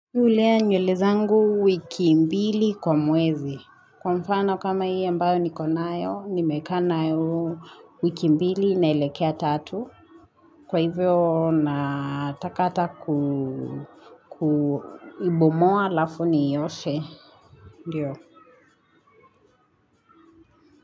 Hulea nywele zangu wiki mbili kwa mwezi. Kwa mfano kama hii ambayo niko nayo, nimekaa nayo huu wiki mbili naelekea tatu. Kwa hivyo, nataka hata kuibomoa halafu niioshe. Ndiyo.